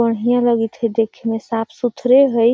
बढिये लागित हई देखे में साफ़ सुथरे हई|